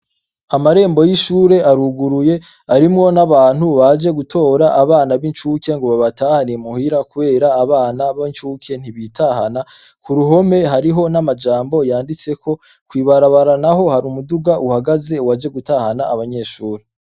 Amarembo y' ishure aruguruye, arimwo n' abantu baje gutora abana b' incuke ngo babatware muhira, kubera abana b' incuke ntibitahana. Ku ruhome hariho n' amajambo yanditseko, kw' ibarabara naho hari umuduga waje gutahana abanyeshure.